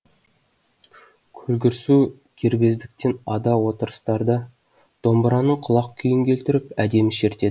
көлгірсу кербездіктен ада отырыстарда домбыраның құлақ күйін келтіріп әдемі шертеді